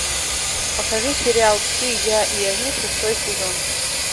покажи сериал ты я и они шестой сезон